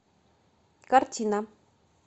картина